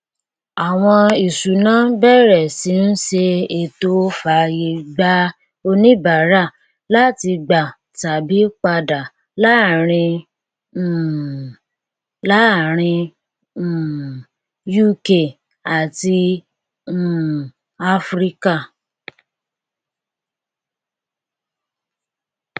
àwọn ìṣúnná bẹrẹ sí ń ṣe ètò fàyè gba oníbàárà láti gbà tàbí padà láàárín um láàárín um uk àti um áfíríkà